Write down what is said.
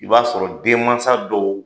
I b'a sɔrɔ denmansa dɔw.